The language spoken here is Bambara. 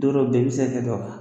Don dɔw bɛ yen i bɛ se ka